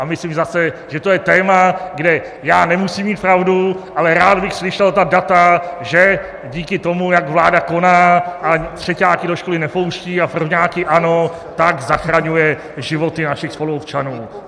A myslím zase, že to je téma, kde já nemusím mít pravdu, ale rád bych slyšel ta data, že díky tomu, jak vláda koná a třeťáky do školy nepouští a prvňáky ano, tak zachraňuje životy našich spoluobčanů.